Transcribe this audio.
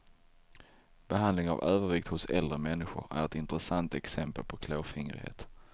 Behandling av övervikt hos äldre människor är ett intressant exempel på klåfingrighet.